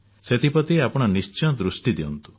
ସେଥିପ୍ରତି ଆପଣ ନିଶ୍ଚୟ ଦୃଷ୍ଟି ଦିଅନ୍ତୁ